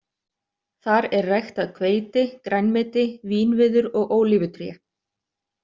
Þar er ræktað hveiti, grænmeti, vínviður og ólífutré.